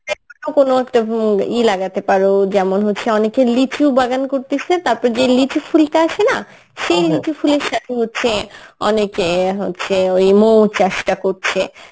কোন একটা হম ই লাগাতে পারো যেমন হচ্ছে অনেকে লিচু বাগান করতেছে তারপর যে লিচু ফুলটা আসে না সেই লিচু ফুলের সাথে হচ্ছে অনেকে হচ্ছে ওই মৌ চাষটা করছে